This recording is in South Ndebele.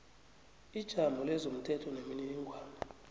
ijamo lezomthetho nemininingwana